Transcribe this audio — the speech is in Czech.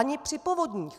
Ani při povodních!